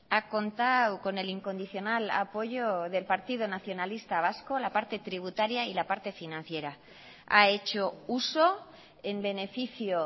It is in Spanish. ha contado con el incondicional apoyo del partido nacionalista vasco la parte tributaria y la parte financiera ha hecho uso en beneficio